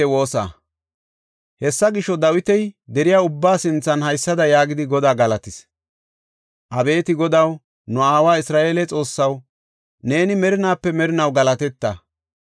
Hessa gisho, Dawiti deriya ubbaa sinthan haysada yaagidi Godaa galatis; “Abeeti Godaw, nu aawa Isra7eele Xoossaw neeni merinaape merinaw galateta.